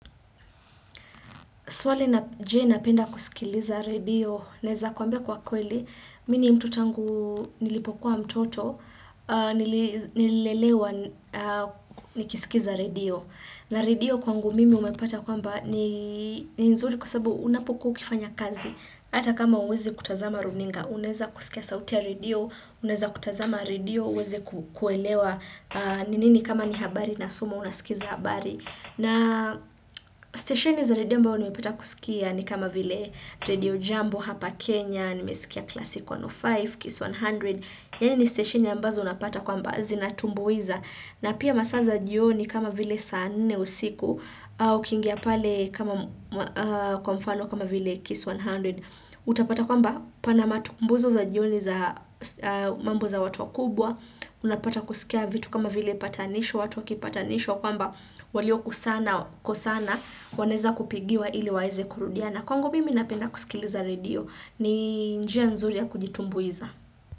Swali la je napenda kusikiliza redio, naweza kukwambia kwa kweli, mimi ni mtu tangu nilipokuwa mtoto, nililelewa nikisikiza redio. Na radio kwangu mimi umepata kwamba ni nzuri kwasababu unapokuwa ukifanya kazi, hata kama huwezi kutazama runinga, unaweza kusikia sauti ya radio, unaweza kutazama redio, uweze kuelewa ni nini kama ni habari inasomwa unasikiliza habari. Na stesheni za redio ambao nimepata kusikia ni kama vile redio jambo hapa Kenya, nimesikia kila siku 1O5, KIS 100, yani ni stesheni ambazo unapata kwamba zinatumbuiza. Na pia masaa za jioni kama vile saa nne usiku au ukiingia pale kama kwa mfano kama vile KIS 100. Utapata kwamba pana matumbuizo za jioni za mambo za watu wakubwa unapata kusikia vitu kama vile patanisho watu wakipatanishwa kwamba walio kusana kosana wanaweza kupigiwa ili waweze kurudiana kwangu mimi napenda kusikiliza redio ni njia nzuri ya kujitumbuiza.